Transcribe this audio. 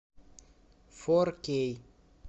фор кей